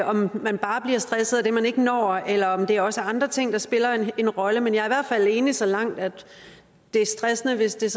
om man bare bliver stresset af det man ikke når eller om det også er andre ting der spiller en rolle men jeg er i hvert fald enig så langt at det er stressende hvis det